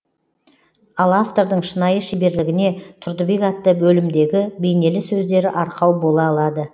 ал автордың шынайы шеберлігіне тұрдыбек атты бөлімдегі бейнелі сөздері арқау бола алады